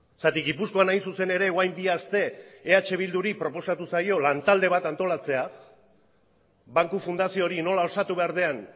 zergatik gipuzkoan hain zuzen ere orain bi aste eh bilduri proposatu zaio lantalde bat antolatzea banku fundazio hori nola osatu behar den